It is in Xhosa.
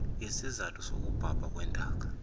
sisizathu sokubhabha kwentaka